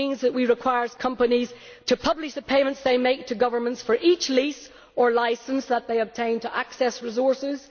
That we require companies to publish the payments they make to governments for each lease or licence that they obtain to access resources.